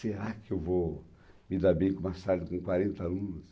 Será que eu vou me dar bem com uma sala que tem quarenta alunos?